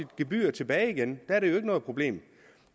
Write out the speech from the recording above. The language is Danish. gebyr tilbage igen der er det ikke noget problem